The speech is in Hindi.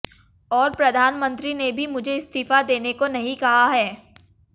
और प्रधानमंत्री ने भी मुझे इस्तीफा देने को नहीं कहा है